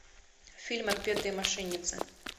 фильм отпетые мошенницы